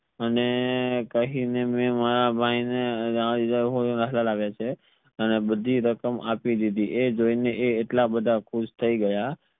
અને કહી ને મે મારા ભાઈ ને અને બધી રકમ આપી દીધી આ જોઈ ને એટલા બધા ખુશ થઈ ગયા